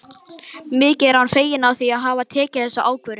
Mikið er hann feginn því að hafa tekið þessa ákvörðun.